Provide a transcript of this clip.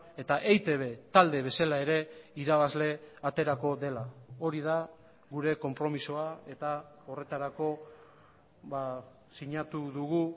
eta eitb talde bezala ere irabazle aterako dela hori da gure konpromisoa eta horretarako sinatu dugu